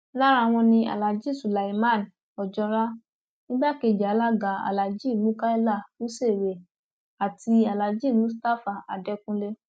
lára wọn ni aláàjì sulyman ojora igbákejì alága aláàjì mukaila runsewé àti alaajì mustapha adẹkùnlé